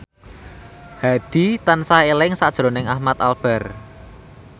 Hadi tansah eling sakjroning Ahmad Albar